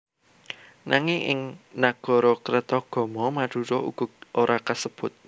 Nanging ing Nagarakretagama Madura uga ora kasebut